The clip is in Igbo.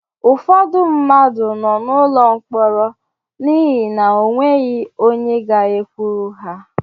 Ụfọdụ mmadụ nọ n'ụlọ mkpọrọ n'ihi na o nweghị ga-ekwuru ha.